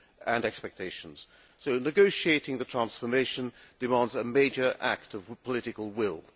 and expectations. So, negotiating the transformation demands a major act of political will.